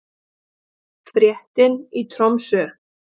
Fréttin í Tromsö